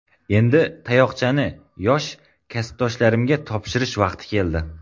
Endi tayoqchani yosh kasbdoshlarimga topshirish vaqti keldi.